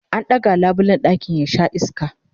an ɗaga labulen ɗakin ya Sha iska